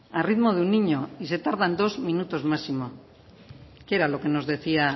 a ritmo de un niño y se tardan dos minutos máximos qué era lo que nos decía